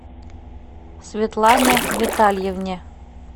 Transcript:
светлане витальевне